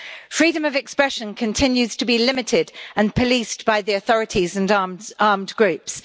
Freedom of expression continues to be limited, and policed by the authorities and armed groups.